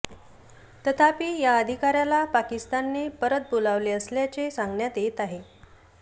तथापि या अधिकाऱयाला पाकिस्तानने परत बोलावले असल्याचे सांगण्यात येत आहे